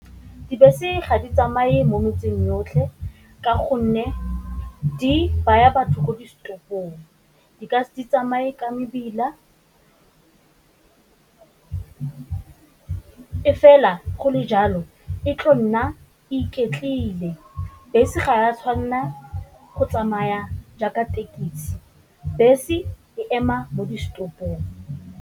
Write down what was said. Dibese ga di tsamaye mo metseng yotlhe ka gonne di baya batho ko di setopong, di ka se tsamaye ka mebila, e fela go le jalo e tlo nna e iketlile. Bese ga a tshwanela go tsamaya jaaka thekisi, bese e ema mo di setopong.